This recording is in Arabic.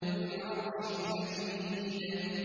ذُو الْعَرْشِ الْمَجِيدُ